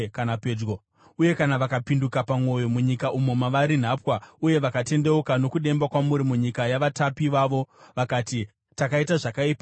uye kana vakapinduka pamwoyo munyika umo mavari nhapwa, uye vakatendeuka nokudemba kwamuri munyika yavatapi vavo, vakati, ‘Takaita, zvakaipa zvisakarurama;’